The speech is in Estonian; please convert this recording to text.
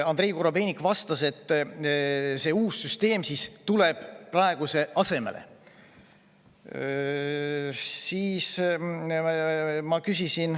Andrei Korobeinik vastas, et uus süsteem tuleb praeguse asemele.